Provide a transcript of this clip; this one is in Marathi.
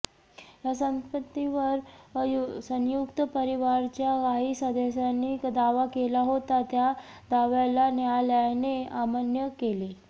या संपत्तीवर संयुक्त परिवाराच्या काही सदस्यांनी दावा केला होता त्या दाव्याला न्यायालयाने अमान्य केले